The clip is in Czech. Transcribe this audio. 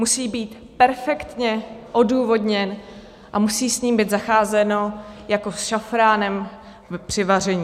Musí být perfektně odůvodněn a musí s ním být zacházeno jako s šafránem při vaření.